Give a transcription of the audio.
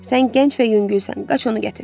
Sən gənc və yüngülsən, qaç onu gətir.